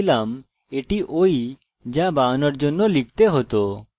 যদিও সংরক্ষণ করার জন্য গ্রাফিকাল ইউজার ইন্টারফেস ব্যবহার করেছি